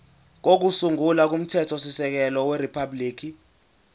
kokusungula komthethosisekelo weriphabhuliki